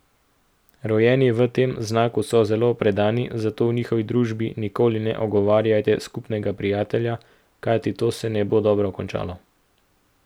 Rojeni v tem znaku so zelo predani, zato v njihovi družbi nikoli ne ogovarjajte skupnega prijatelja, kajti to se ne bo dobro končalo.